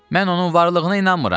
Mən onun varlığına inanmıram.